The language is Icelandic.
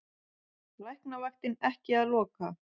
Læknavaktin ekki að loka